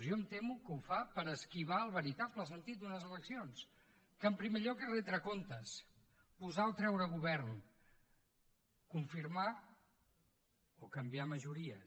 jo em temo que ho fa per esquivar el veritable sentit d’unes eleccions que en primer lloc és retre comptes posar o treure govern confirmar o canviar majories